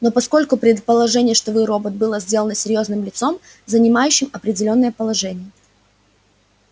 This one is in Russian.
но поскольку предположение что вы робот было сделано серьёзным лицом занимающим определённое положение